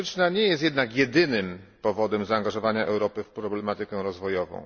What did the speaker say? historyczna nie jest jednak jedynym powodem zaangażowania Europy w problematykę rozwojową.